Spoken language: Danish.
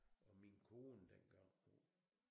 Og min kone dengang hun